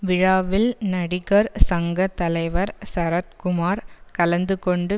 விழாவில் நடிகர் சங்க தலைவர் சரத்குமார் கலந்து கொண்டு